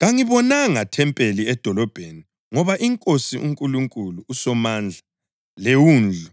Kangibonanga thempeli edolobheni ngoba iNkosi uNkulunkulu uSomandla leWundlu